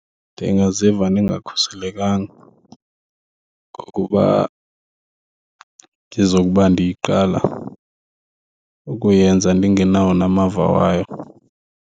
Ndingaziva ndingakhuselekanga ngokuba ndizokuba ndiyiqala ukuyenza ndingenawo namava wayo.